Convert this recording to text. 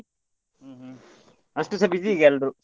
ಹ್ಮ್ ಹ್ಮ್ ಅಷ್ಟುಸಾ busy ಈಗ ಎಲ್ರು.